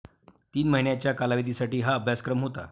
तीन महिन्यांच्या कालावधीसाठी हा अभ्यासक्रम होता.